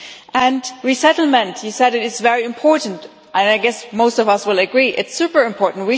And resettlement you said it is very important, and I guess most of us will agree, it's extremely important.